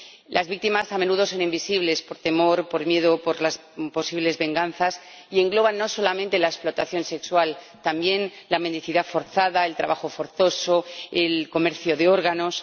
Las víctimas a menudo son invisibles por temor, por miedo por las posibles venganzas. Y engloba no solamente la explotación sexual, sino también la mendicidad forzada, el trabajo forzoso, el comercio de órganos.